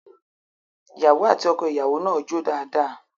Ìyàwó àti ọkọìyàwó náà jó dáadáa